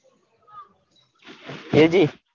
એજી,